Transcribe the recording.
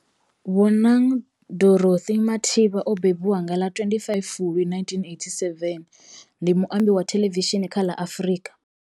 Bonang Dorothy Matheba o mbembiwa nga ḽa 25 Fulwi 1987, ndi muambi wa thelevishini kha ḽa Afrika.